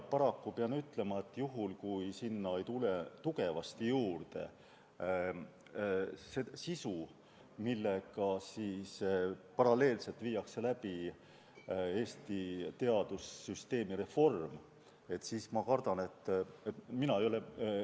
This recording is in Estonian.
Paraku pean ütlema, et juhul kui sinna ei tule tugevasti juurde sisu, millega paralleelselt viiakse ellu Eesti teadussüsteemi reformi, siis ma kardan, et.